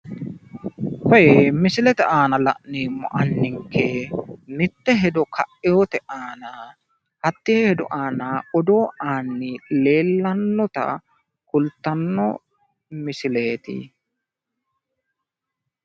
koyee misilete aana la'neemmo anninke mitte ka'eewota aana hattee hedo aana odoo aanni leellannota kultanno misileeeti